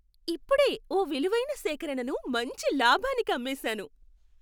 ఇప్పుడే ఓ విలువైన సేకరణను మంచి లాభానికి అమ్మేశాను.